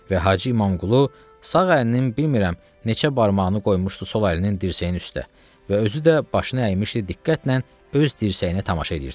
Və Hacı İmamqulu sağ əlinin bilmirəm neçə barmağını qoymuşdu sol əlinin dirsəyin üstə və özü də başını əymişdi diqqətlə öz dirsəyinə tamaşa edirdi.